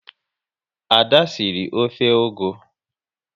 Ada sịrị ofe ugu